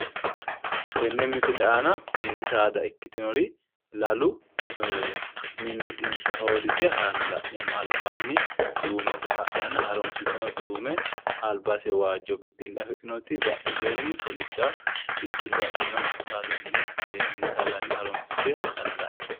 Tenne misile aana mini saada ikkitinori lalu mimmitinsa hoodise haranna la'nermmo. Albaanni duume saa harunsiteno duume saa albase waajjo bixxille afidhinoti badheseenni kolidda bixxille afirino saadanni mini saadanni harunsite hadhanna la'neemmo.